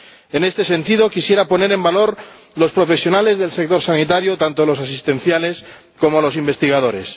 En este sentido, quisiera poner en valor a los profesionales del sector sanitario, tanto los asistenciales como los investigadores.